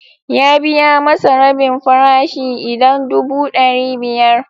Ya biya masa rabin farashi idan dubu ɗari biyar.